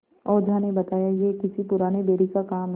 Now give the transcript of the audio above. ओझा ने बताया यह किसी पुराने बैरी का काम है